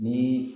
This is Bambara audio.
Ni